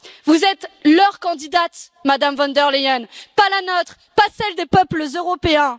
Vous êtes leur candidate, Madame von der Leyen, pas la nôtre, pas celle des peuples européens.